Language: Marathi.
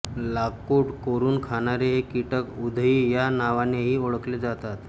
लाकुड कोरून खाणारे हे कीटक उधई या नावानेही ओळखले जातात